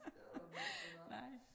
Det var noget mærkeligt noget